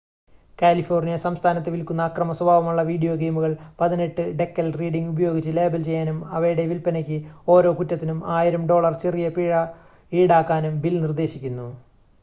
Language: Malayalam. "കാലിഫോർണിയ സംസ്ഥാനത്ത് വിൽക്കുന്ന അക്രമ സ്വഭാവമുള്ള വീഡിയോ ഗെയിമുകൾ "18" എന്ന ഡെക്കൽ റീഡിംഗ് ഉപയോഗിച്ച് ലേബൽ ചെയ്യാനും അവയുടെ വിൽപ്പനയ്ക്ക് ഓരോ കുറ്റത്തിനും 1000 ഡോളർ ചെറിയ പിഴ ഈടാക്കാനും ബിൽ നിർദ്ദേശിക്കുന്നു.